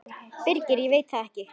Birgir: Ég veit það ekkert.